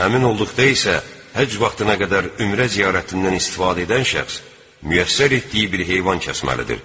Əmin olduqda isə həcc vaxtına qədər ümrə ziyarətindən istifadə edən şəxs müyəssər etdiyi bir heyvan kəsməlidir.